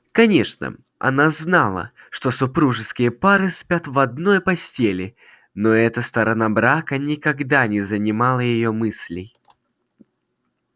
конечно она знала что супружеские пары спят в одной постели но эта сторона брака никогда не занимала её мыслей